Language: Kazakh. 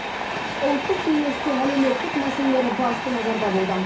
ұлттық кеңесте әлеуметтік мәселелер басты назарда болды